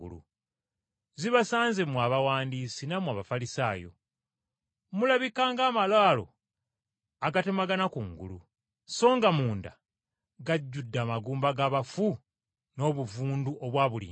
“Zibasanze mmwe Abawandiisi nammwe Abafalisaayo! Mulabika ng’amalaalo agatemagana kungulu, songa munda gajjudde amagumba g’abafu n’obuvundu obwa buli ngeri.